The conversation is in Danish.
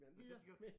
Videre!